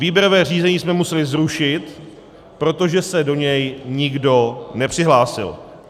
Výběrové řízení jsme museli zrušit, protože se do něj nikdo nepřihlásil.